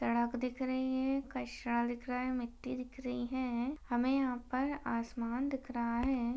सड़क दिख रही है। कचरा दिख रहा है। मिट्ठी दिख रही है| हमें यहां पर आसमान दिख रहा है।